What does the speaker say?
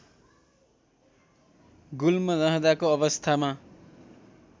गुल्म रहँदाको अवस्थामा